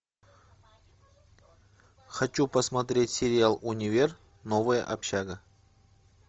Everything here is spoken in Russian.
хочу посмотреть сериал универ новая общага